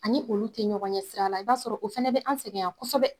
Ani olu te ɲɔgɔn ɲɛ sira la, i b'a sɔrɔ o fɛnɛ bɛ an4 sɛgɛn yan kosɛbɛ.